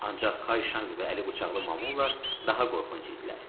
Ancaq Kay Şanq və Əli bıçaqlı Mamulla daha qorxunc idilər.